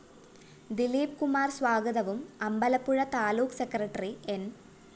ദിലീപ് കുമാര്‍ സ്വാഗതവും അമ്പലപ്പുഴ താലൂക്ക് സെക്രട്ടറി ന്‌